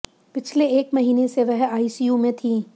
पिछले एक महीने से वह आईसीयू में थीं